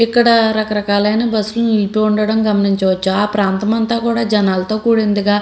ఇక్కడ రకరకాలైన బస్లు నింపి ఉండడం గమనించవచ్చు ఆ ప్రాంతం అంతా కూడా జనాలతో కూడిందిగా --